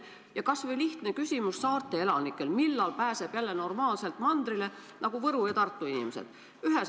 Ja kas või lihtne küsimus, mis on saarte elanikel: millal pääseb jälle normaalselt mandrile, nagu Võru ja Tartu inimesed?